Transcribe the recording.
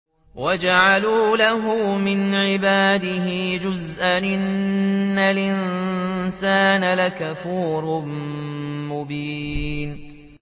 وَجَعَلُوا لَهُ مِنْ عِبَادِهِ جُزْءًا ۚ إِنَّ الْإِنسَانَ لَكَفُورٌ مُّبِينٌ